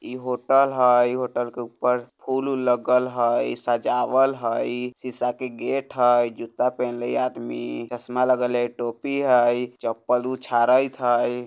इ होटल हई होटल के ऊपर फुल-उल लगल हई सजावल हई सीसा के गेट हई जुत्ता पेन्हले हई इ आदमी चश्मा लगेले हई टोपी हई चप्पल उछारैत हई।